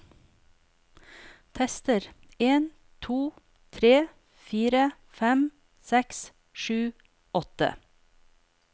Tester en to tre fire fem seks sju åtte